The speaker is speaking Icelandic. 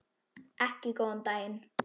Ekki góðan daginn.